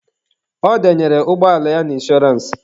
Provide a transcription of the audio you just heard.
Ọ denyere ụgbọala ya na inshọrance.